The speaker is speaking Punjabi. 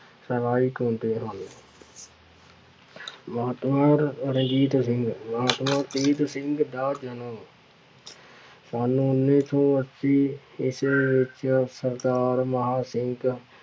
ਸਹਾਇਕ ਹੁੰਦੇ ਹਨ ਮਹਾਤਮਾ ਰਣਜੀਤ ਸਿੰਘ ਮਹਾਤਮਾ ਸਿੰਘ ਦਾ ਜਨਮ ਸੰਨ ਉੱਨੀ ਸੌ ਅੱਸੀ ਈਸਵੀ ਵਿੱਚ ਸਰਦਾਰ ਮਹਾਂ ਸਿੰਘ